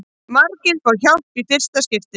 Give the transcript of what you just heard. Margir fá hjálp í fyrsta skipti